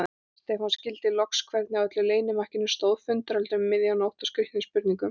Stefán skildi loks hvernig á öllu leynimakkinu stóð, fundarhöldum um miðja nótt og skrýtnum spurningum.